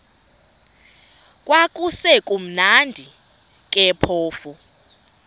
kwakusekumnandi ke phofu